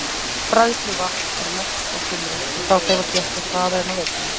Bræðsluvatn er mest á sumrin og þá hreyfast jöklar hraðar en á veturna.